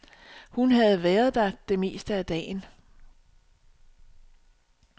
Hun havde været der det meste af dagen.